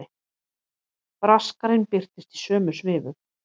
Braskarinn birtist í sömu svifum.